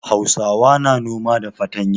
Hausawa na noma da fatanya.